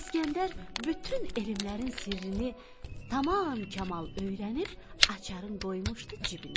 İskəndər bütün elmlərin sirrini tamam kamal öyrənib açarın qoymuşdu cibinə.